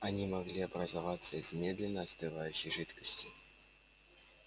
они могли образоваться из медленно остывающей жидкости